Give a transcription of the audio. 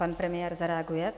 Pan premiér zareaguje.